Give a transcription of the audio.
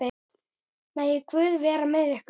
Megi Guð vera með ykkur.